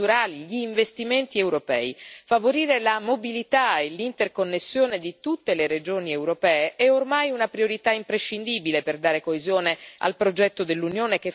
Favorire la mobilità e l'interconnessione di tutte le regioni europee è ormai una priorità imprescindibile per dare coesione al progetto dell'Unione che, faticosamente, costruiamo ogni giorno.